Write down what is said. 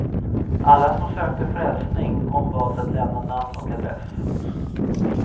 Alla som sökte frälsning ombads att lämna namn och adress.